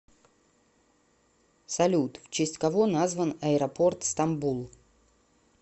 салют в честь кого назван аэропорт стамбул